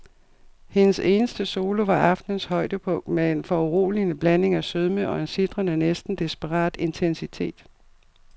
Hendes eneste solo var aftenens højdepunkt med en foruroligende blanding af sødme og en sitrende, næsten desperat intensitet.